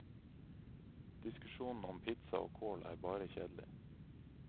Diskusjonen om pizza og kål er bare kjedelig.